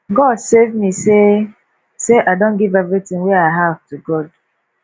god save me say say i don give everything wey i have to god